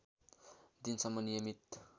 दिन सम्म नियमित